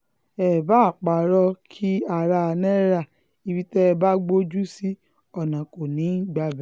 èé báa parọ́ ìnkí ará náírà ibi tẹ́ ẹ bá gbójú sí ọ̀nà kò ní í gbabẹ̀